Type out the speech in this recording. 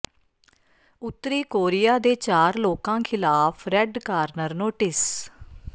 ਉੱਤਰੀ ਕੋਰੀਆ ਦੇ ਚਾਰ ਲੋਕਾਂ ਖ਼ਿਲਾਫ਼ ਰੈੱਡ ਕਾਰਨਰ ਨੋਟਿਸ